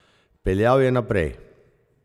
Peljal je naprej.